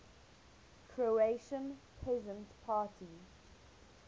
croatian peasant party